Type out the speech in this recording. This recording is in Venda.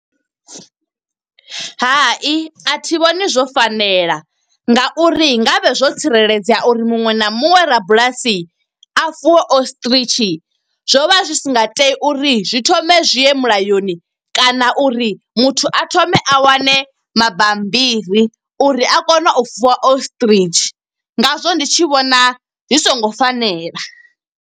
Hai, a thi vhoni zwo fanela nga uri ngavhe zwo tsireledzea uri muṅwe na muṅwe rabulasi a fuwe ostrich. Zwo vha zwi si nga tea uri zwi thome zwi ye mulayoni kana uri muthu a thome a wane mabambiri. Uri a kone u fuwa ostrich, nga zwo ndi tshi vhona zwi songo fanela.